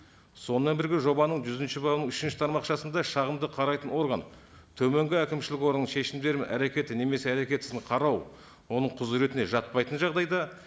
сонымен бірге жобаның жүзінші бабының үшінші тармақшасында шағымды қарайтын орган төменгі әкімшілік органның шешімдері мен әрекеті немесе әрекет қарау оның құзыретіне жатпайтын жағдайда